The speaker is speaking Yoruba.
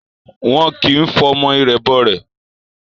Wọn kì ń fọmọ irẹ̀ bọ rẹ̀